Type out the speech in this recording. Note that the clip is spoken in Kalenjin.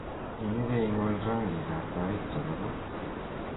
imiche ing'ol rangik ab tait chebo ko